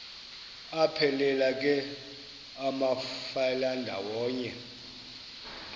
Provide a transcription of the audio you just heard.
aphelela ke amafelandawonye